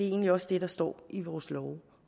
egentlig også det der står i vores love